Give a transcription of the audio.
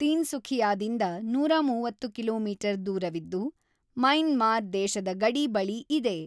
ತೀನ್ಸುಖಿಯಾದಿಂದ ೧೩೦ ಕಿಮಿ ದೂರವಿದ್ದು ಮೈನ್ಮಾರ್ ದೇಶದ ಗಡಿ ಬಳಿ ಇದೆ.